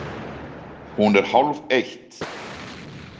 Hún er hálfeitt!